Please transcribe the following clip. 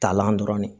Talan dɔrɔn de